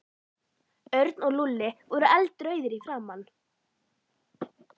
Örn og Lúlli voru eldrauðir í framan.